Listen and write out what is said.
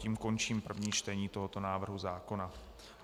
Tím končím první čtení tohoto návrhu zákona.